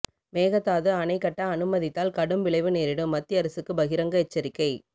மேகதாது அணை கட்ட அனுமதித்தால் கடும் விளைவு நேரிடும் மத்திய அரசுக்கு பகிரங்க எச்சரிக்கை